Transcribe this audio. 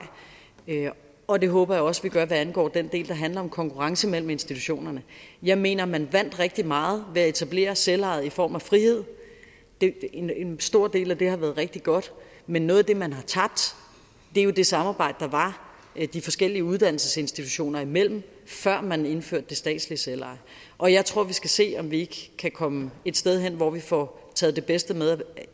og det håber jeg også at vi gør hvad angår den del der handler om konkurrence mellem institutionerne jeg mener man vandt rigtig meget ved at etablere selveje i form af frihed en en stor del af det har været rigtig godt men noget af det man har tabt er det samarbejde der var de forskellige uddannelsesinstitutioner imellem før man indførte det statslige selveje og jeg tror at vi skal se om vi ikke kan komme et sted hen hvor vi får taget det bedste med